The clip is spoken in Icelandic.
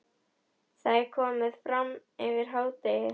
Það er komið fram yfir hádegi.